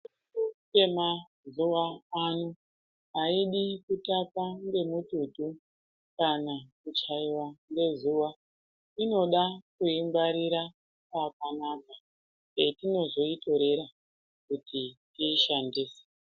Mishonga yemazuvaana hayidi kutapa ngematutu kana kuchaiva ngezuva inoda kuingwarira pakanaka petinozoitorera kuti tiishandise.